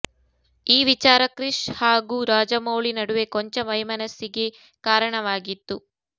ಈ ವಿಚಾರ ಕ್ರಿಶ್ ಹಾಗೂ ರಾಜಮೌಳಿ ನಡುವೆ ಕೊಂಚ ವೈಮನಸ್ಸಿಗೆ ಕಾರಣವಾಗಿತ್ತು